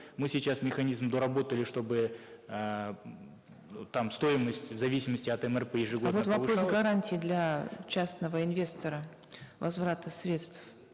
мы сейчас механизм доработали чтобы эээ м там стоимость в зависимости от мрп ежегодно а вот вопрос гарантии для частного инвестора возврата средств